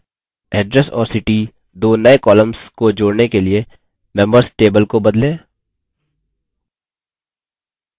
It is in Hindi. address और city दो नये columns को जोड़ने के लिए members table को बदलें